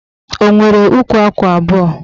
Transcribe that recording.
O nwere ukwu akwa abụọ